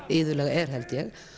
iðulega er held ég